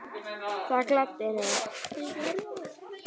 Það gladdi mig.